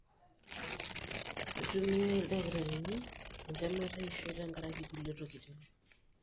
Keitumia ildakitarini entemata eishoi tenkaraki kulie tokitin.